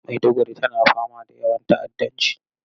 Maiduguri tana fama da yawan ta'addanci.